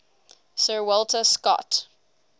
sir walter scott